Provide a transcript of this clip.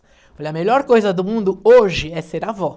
Foi a melhor coisa do mundo hoje é ser avó.